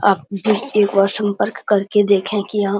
आप एक बार संपर्क करके देखें की यहाँ --